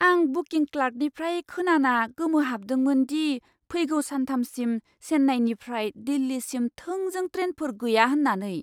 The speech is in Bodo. आं बुकिं क्लार्कनिफ्राय खोनाना गोमोहाबदोंमोन दि फैगौ सानथामसिम चेन्नाईनिफ्राय दिल्लीसिम थोंजों ट्रेनफोर गैया होन्नानै।